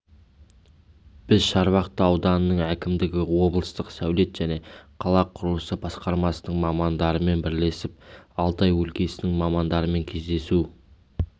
біз шарбақты ауданының әкімдігі облыстық сәулет және қала құрылысы басқармасының мамандарымен бірлесіп алтай өлкесінің мамандарымен кездесу